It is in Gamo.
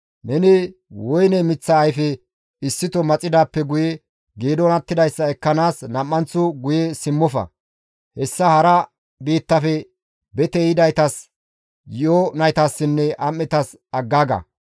Neni woyne miththa ayfe issito maxidaappe guye geedon attidayssa ekkanaas nam7anththo guye simmofa; hessa hara biittafe bete yidaytas, yi7o naytassinne am7etas aggaaga.